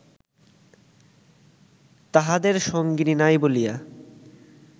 তাঁহাদের সঙ্গিনী নাই বলিয়া